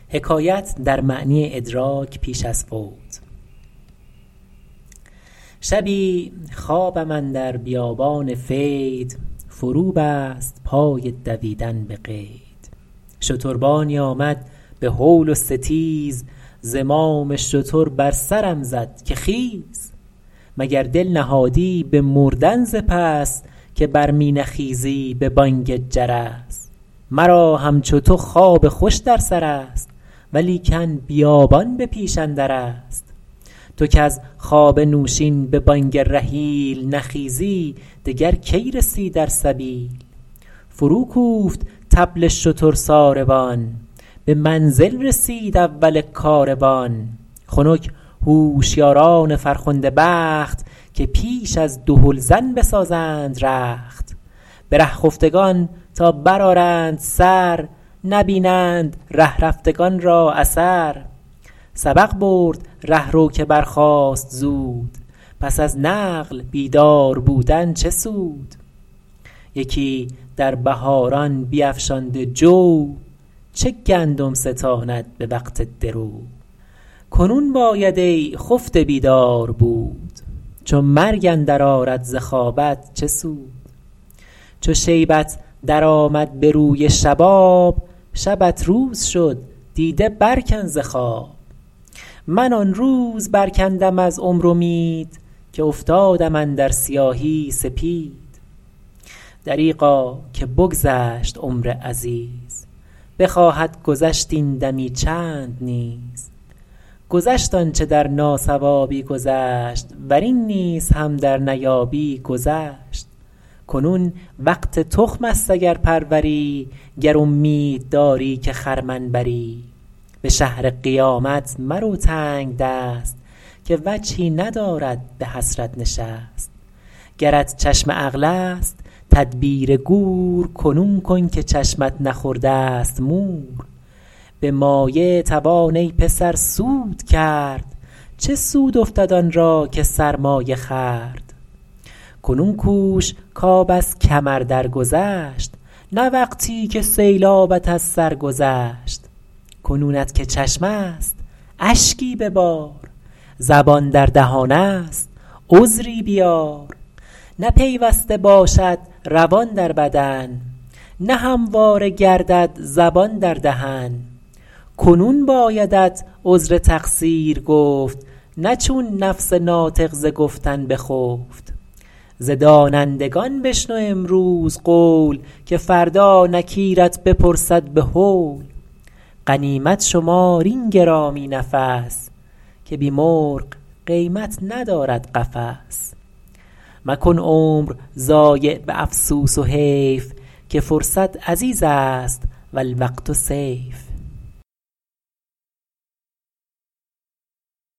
شبی خوابم اندر بیابان فید فرو بست پای دویدن به قید شتربانی آمد به هول و ستیز زمام شتر بر سرم زد که خیز مگر دل نهادی به مردن ز پس که بر می نخیزی به بانگ جرس مرا همچو تو خواب خوش در سر است ولیکن بیابان به پیش اندر است تو کز خواب نوشین به بانگ رحیل نخیزی دگر کی رسی در سبیل فرو کوفت طبل شتر ساروان به منزل رسید اول کاروان خنک هوشیاران فرخنده بخت که پیش از دهلزن بسازند رخت به ره خفتگان تا بر آرند سر نبینند ره رفتگان را اثر سبق برد رهرو که برخاست زود پس از نقل بیدار بودن چه سود یکی در بهاران بیفشانده جو چه گندم ستاند به وقت درو کنون باید ای خفته بیدار بود چو مرگ اندر آرد ز خوابت چه سود چو شیبت در آمد به روی شباب شبت روز شد دیده بر کن ز خواب من آن روز بر کندم از عمر امید که افتادم اندر سیاهی سپید دریغا که بگذشت عمر عزیز بخواهد گذشت این دمی چند نیز گذشت آنچه در ناصوابی گذشت ور این نیز هم در نیابی گذشت کنون وقت تخم است اگر پروری گر امید داری که خرمن بری به شهر قیامت مرو تنگدست که وجهی ندارد به حسرت نشست گرت چشم عقل است تدبیر گور کنون کن که چشمت نخورده ست مور به مایه توان ای پسر سود کرد چه سود افتد آن را که سرمایه خورد کنون کوش کآب از کمر در گذشت نه وقتی که سیلابت از سر گذشت کنونت که چشم است اشکی ببار زبان در دهان است عذری بیار نه پیوسته باشد روان در بدن نه همواره گردد زبان در دهن کنون بایدت عذر تقصیر گفت نه چون نفس ناطق ز گفتن بخفت ز دانندگان بشنو امروز قول که فردا نکیرت بپرسد به هول غنیمت شمار این گرامی نفس که بی مرغ قیمت ندارد قفس مکن عمر ضایع به افسوس و حیف که فرصت عزیز است و الوقت سیف